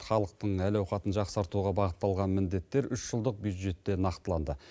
халықтың әл ауқатын жақсартуға бағытталған міндеттер үш жылдық бюджетте нақтыланды